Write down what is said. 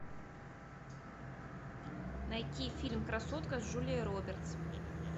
найти фильм красотка с джулией робертс